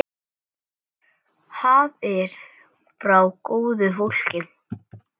Gjafir frá góðu fólki.